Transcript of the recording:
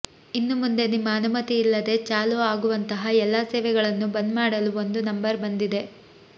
ಇನ್ನು ಮುಂದೆ ನಿಮ್ಮ ಅನುಮತಿಯಿಲ್ಲದೇ ಚಾಲು ಆಗುವಂತಹ ಎಲ್ಲಾ ಸೇವೆಗಳನ್ನು ಬಂದ್ ಮಾಡಲು ಒಂದು ನಂಬರ್ ಬಂದಿದೆ